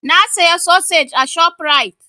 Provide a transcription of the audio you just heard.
Na saya sosej a ShopRite.